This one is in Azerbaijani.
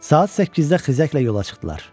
Saat 8-də xizəklə yola çıxdılar.